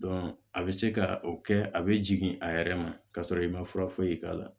a bɛ se ka o kɛ a bɛ jigin a yɛrɛ ma ka sɔrɔ i ma fura foyi k'a la